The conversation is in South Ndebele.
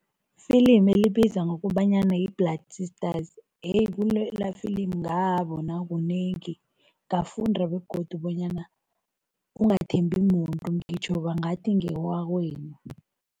Ifilimi elibiza ngokobanyana yi-Blood Sisters heyi kulela filimu ngabona kunengi, ngafunda begodu bonyana ungathembi muntu, ngitjho bangathi ngewakwenu.